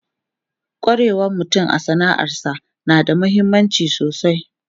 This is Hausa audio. Kwarewan mutum a sana'arsa na da mahimmanci sosai.